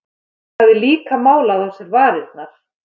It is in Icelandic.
Hún hafði líka málað á sér varirnar.